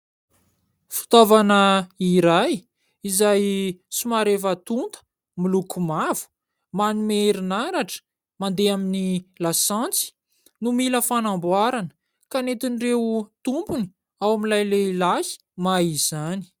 Fitaovana iray izay somary efa tonta miloko mavo, manome herinaratra, mandeha amin'ny lasantsy no mila fanamboarana ka nentin'ireo tompony ao amin'ilay lehilahy mahay izany.